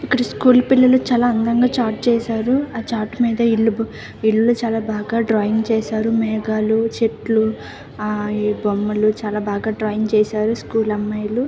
ఇక్కడ స్కూల్ పిల్లల్లు చాలా అందం గా చాట్ చేసారు. ఆ చాట్ విల్ ఇల్లు చాల డ్రాయింగ్ చేసారు. మేఘల్లు చెట్లు. ఈ బొమ్మలు చాలా బాగా డ్రాయింగ్ చేసారు స్కూల్ అమ్మాయిలు.